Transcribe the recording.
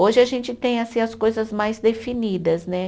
Hoje a gente tem, assim, as coisas mais definidas, né?